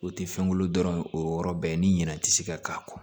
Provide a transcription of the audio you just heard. O tɛ fɛn wolo dɔrɔn o yɔrɔ bɛɛ ye ni ɲinɛ tɛ se ka k'a kɔ